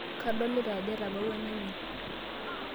Kadolita ajo etabawua enaimin.